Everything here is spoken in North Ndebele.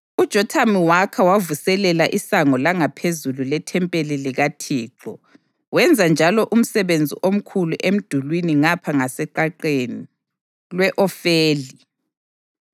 UJothamu wakha wavuselela iSango langaPhezulu lethempeli likaThixo wenza njalo umsebenzi omkhulu emdulini ngapha ngaseqaqeni lwe-Ofeli.